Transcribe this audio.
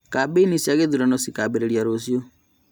Kambeini cia gĩthurano cikambĩrĩria rũciũ